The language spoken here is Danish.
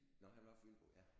Nå han var Fynbo ja?